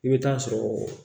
I bɛ taa sɔrɔ